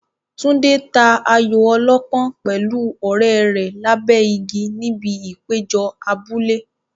Tunde ta ayo ọlọ́pọ́n pẹ̀lú ọ̀rẹ́ rẹ̀ lábẹ́ igi níbi ìpéjọ abúlé.